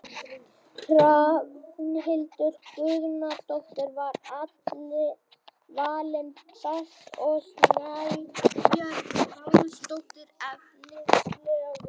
Hrafnhildur Guðnadóttir var valin best og Snæbjört Pálsdóttir efnilegust.